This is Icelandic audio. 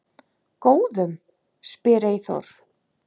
Góðum? spyr Eyþór.